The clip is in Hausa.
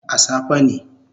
A safe ne